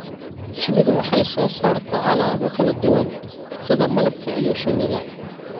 Shinnidu waxay soo saartaa alaabo kala duwan sida malabka iyo shinida.